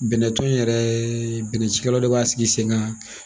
Bɛnɛ tɔn in yɛrɛɛ bɛnɛ cikɛlaw de b'a sigi sen ga